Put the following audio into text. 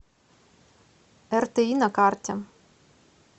рти на карте